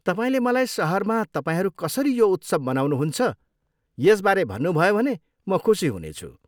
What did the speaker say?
तपाईँले मलाई सहरमा तपाईँहरू कसरी यो उत्सव मनाउनुहुन्छ यसबारे भन्नुभयो भने म खुसी हुनेछु।